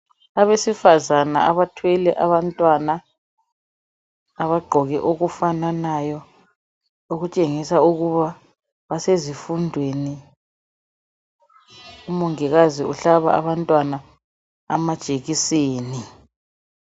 Abesifazana abathwele abantwana abagqoke okufananayo okutshengisa ukuba basezifundweni umongikazi uhlaba abantwana amajekiseni.